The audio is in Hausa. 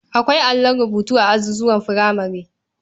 Akwai allon rubutu a azuzuwan furamare.